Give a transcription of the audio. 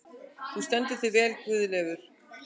Þú stendur þig vel, Guðleifur!